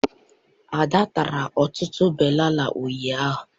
Ada tara ọtụtụ banana ụnyaahụ